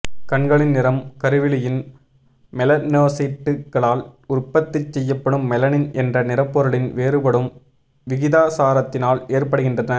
கண்களின் நிறம் கருவிழியின் மெலனோசைட்டுகளால் உற்பத்தி செய்யப்படும் மெலனின் என்ற நிறப்பொருளின் வேறுபடும் விகிதாசாரத்தினால் ஏற்படுகின்றன